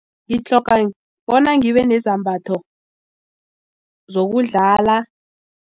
Ngitlhoga bona ngibe nezambatho zokudlala.